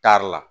Taari la